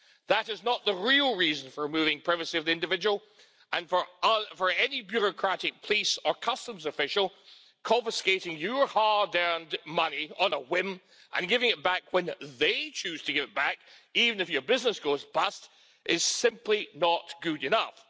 That is not the real reason for removing privacy of the individual and for any bureaucratic police or customs official confiscating your hard earned money on a whim, and giving it back when they choose to give it back, even if your business goes bust, is simply not good enough.